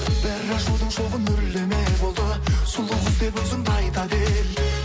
бір ашудың жолы мөрлеме болды сұлу қыз деп өзіңді айтады ел